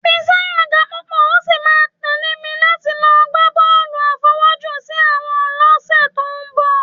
Fikáyọ̀ ga púpọ̀, ó sì máa tẹ̀lé mi láti lọ gbá bọ́ọ̀lù àfọwọ́jù-sí-àwọ̀n lọ́sẹ̀ tó ń bọ̀